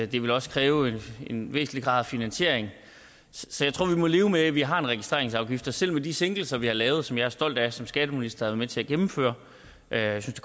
det ville også kræve en væsentlig grad af finansiering så jeg tror vi må leve med at vi har en registreringsafgift og selv med de sænkelser vi har lavet og som jeg stolt af som skatteminister at med til at gennemføre jeg synes